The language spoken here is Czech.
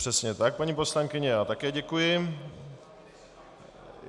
Přesně tak, paní poslankyně, já také děkuji.